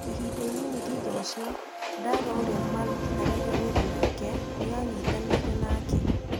Ihinda inini thutha ũcio, Ndarwa ũrĩa maarutithanagia wĩra nake nĩ aanyitanĩire nake.